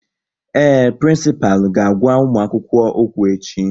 Ee, prịnsịpalụ ga-agwa ụmụakwukwo okwu echi